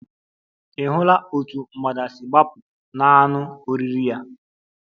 Ị̀ hụla otú mgbada si gbapụ n'anụ oriri ya?